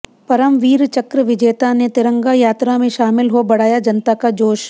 परमवीर चक्र विजेता ने तिरंगा यात्रा में शामिल हो बढ़ाया जनता का जोश